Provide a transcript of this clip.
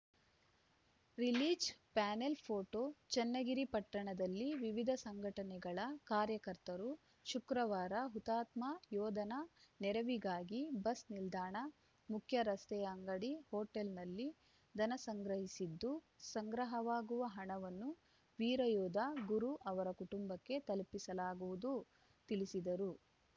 release panel photo Channagiri ಪಟ್ಟಣದಲ್ಲಿನ ವಿವಿಧ ಸಂಘಟನೆಗಳ ಕಾರ್ಯಕರ್ತರು ಶುಕ್ರವಾರ ಹುತಾತ್ಮ ಯೋಧರ ನೆರವಿಗಾಗಿ ಬಸ್‌ ನಿಲ್ದಾಣ ಮುಖ್ಯ ರಸ್ತೆಯ ಅಂಗಡಿ ಹೋಟೆಲ್‌ನಲ್ಲಿ ಧನ ಸಂಗ್ರಹಿಸಿದ್ದು ಸಂಗ್ರಹವಾಗುವ ಹಣವನ್ನು ವೀರಯೋಧ ಗುರು ಅವರ ಕುಟುಂಬಕ್ಕೆ ತಲುಪಿಸಲಾಗುವುದು ತಿಳಿಸಿದರು